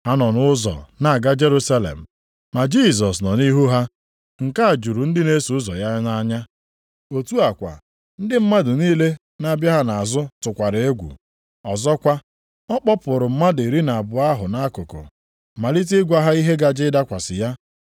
Ha nọ nʼụzọ na-aga Jerusalem, ma Jisọs nọ nʼihu ha, nke a juru ndị na-eso ụzọ ya nʼanya. Otu a kwa, ndị mmadụ niile na-abịa ha nʼazụ tụkwara egwu. Ọzọkwa, ọ kpọpụrụ mmadụ iri na abụọ ahụ nʼakụkụ, malite ịgwa ha ihe gaje ịdakwasị ya.